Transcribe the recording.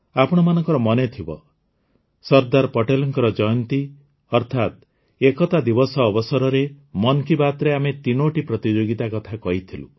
ଆପଣମାନଙ୍କର ମନେଥିବ ସର୍ଦ୍ଦାର ପଟେଲଙ୍କ ଜୟନ୍ତୀ ଅର୍ଥାତ ଏକତା ଦିବସ ଅବସରରେ ମନ୍ କି ବାତ୍ରେ ଆମେ ତିନୋଟି ପ୍ରତିଯୋଗିତା କଥା କହିଥିଲୁ